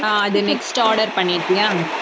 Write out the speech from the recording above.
அது next order பண்ணிட்டியா